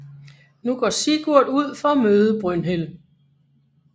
Nu går Sigurd ud for at møde Brynhild